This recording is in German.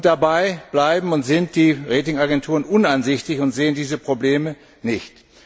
Dabei bleiben und sind die Rating Agenturen uneinsichtig und sehen diese Probleme nicht.